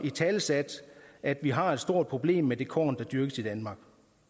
italesat at vi har et stort problem med det korn der dyrkes i danmark